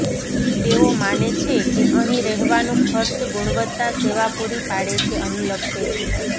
તેઓ માને છે કે અહીં રહેવાનું ખર્ચ ગુણવત્તા સેવા પૂરી પાડે છે અનુલક્ષે છે